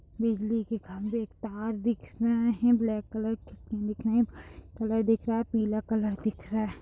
बिजली के खंबे तार दिख रहे हैं ब्लैक कलर के दिख रहे हैं व्हाइट कलर दिख रहा है पीला कलर दिख रहा है।